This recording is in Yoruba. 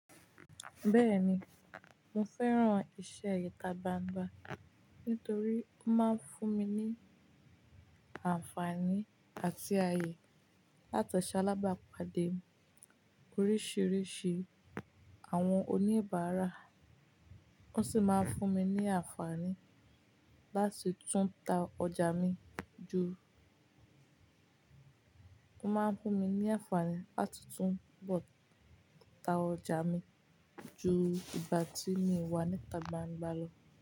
Bẹ́ẹ̀ni, mo fẹ́ràn iṣẹ́ íta gbangba nítorí ó máa ń fún mi ní àǹfààní àti ayé láti ṣalábàápàdé oríṣiríṣi àwọn oníbàárà. Ó sì máa ń fún mi ní àǹfààní láti tún ta ọjà mi ju, ó máa ń fún mi ní àǹfààní láti túnbo ta ọjà mi ju ìgbà tí mi wá níta gbangba lọ.